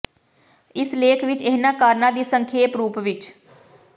ਇਸ ਲੇਖ ਵਿਚ ਇਹਨਾਂ ਕਾਰਨਾਂ ਦੀ ਸੰਖੇਪ ਰੂਪ ਵਿਚ